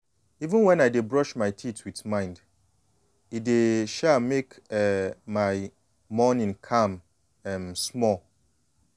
even when i dey brush my teeth with mind e dey um make um my morning calm um small.